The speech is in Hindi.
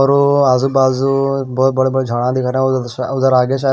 और वो आज़ू बाज़ू बहुत बड़े बड़े झाड़ दिख रहे हैं उधर आगे शायद--